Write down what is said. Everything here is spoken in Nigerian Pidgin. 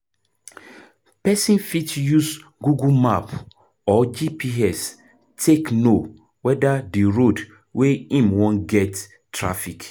Person fit use google map or GPS take know weda di road wey im wan get traffic